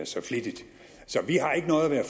så flittigt så vi har ikke noget at